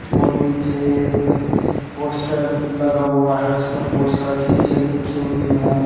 और पीछे एक पोस्टर लगा हुआ है उसपे बहोत सारी चीज़े लिखी हुई है।